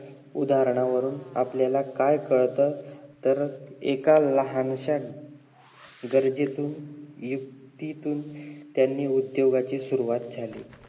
उदाहरणावरून आपल्याला काय कळत तर एका लहानश्या गरजेतून, युक्तीतून त्यांनी उद्दोगाची सुरवात झाली